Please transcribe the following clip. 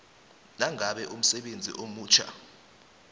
nangabe umsebenzi omutjha